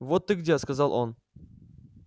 вот ты где сказал он